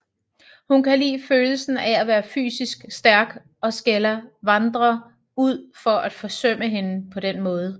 Hun kan lide følelsen af at være fysisk stærk og skælder Vandrer ud for at forsømme hende på den måde